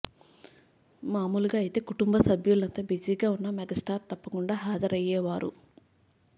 మామూలుగా అయితే కుటుంబ సభ్యులంతా బిజీగా ఉన్నా మెగాస్టార్ తప్పకుండా హాజరయ్యేవారు